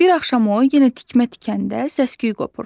Bir axşam o yenə tikmə tikəndə səsküy qopur.